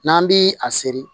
N'an bi a seri